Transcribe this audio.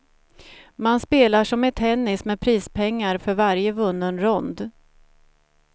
Man spelar som i tennis med prispengar för varje vunnen rond.